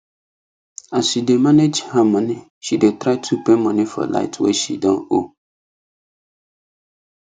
as she dey manage her money she dey try to pay money for light wey she don owe